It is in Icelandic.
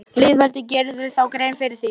Lýðveldið, gerirðu þér grein fyrir því?